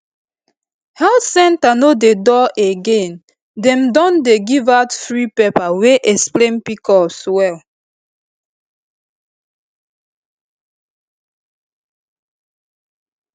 health center no dey dull again dem don dey give out free paper wey explain pcos well